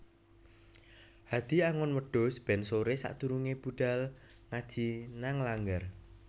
Hadi angon wedhus ben sore sakdurunge budhal ngaji nang langgar